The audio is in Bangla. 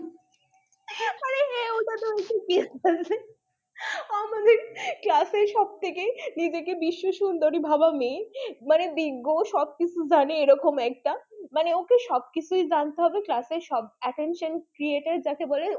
class এর সব থেকে নিজেকে বিশ্ব সুন্দরী ভাবা মেয়ে, মানে বিজ্ঞ সবকিছু জানে এরকম একটা মানে ওকে সবকিছুই জানতে হবে class এর সব attention creator যাকে বলে